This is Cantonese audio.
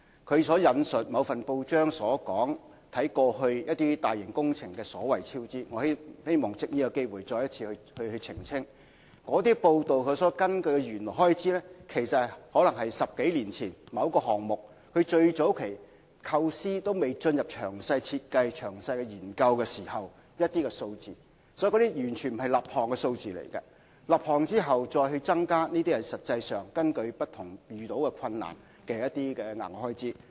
他引述了某份報章有關過去一些大型工程所謂超支情況的報道，我希望藉此機會再次澄清，有關報道所根據的原有開支，有可能是某項目在10多年前，即最早期尚未進入詳細設計和詳細研究時的初步估算數字，這些並非立項數字，在立項後再增加的開支，才是實際上因遇到不同的困難而導致的額外開支。